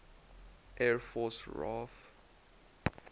air force raaf